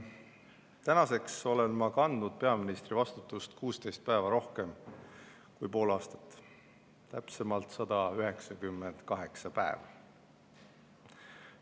Tänaseks olen ma kandnud peaministri vastutust 16 päeva rohkem kui pool aastat, täpsemalt 198 päeva.